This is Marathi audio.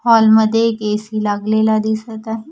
हॉल मध्ये एक ए_सी लागलेला दिसत आहे.